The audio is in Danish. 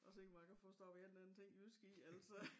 Og se hvor jeg kan få stoppet en eller anden ting jysk i altså